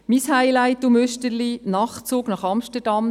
Mein Highlight und Müsterchen: der Nachtzug nach Amsterdam.